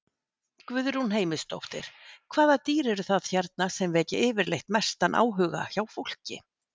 Guðrún Heimisdóttir: Hvaða dýr eru það hérna sem vekja yfirleitt mestan áhuga hjá fólki?